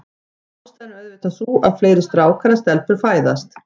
Ástæðan er auðvitað sú, að fleiri strákar en stelpur fæðast.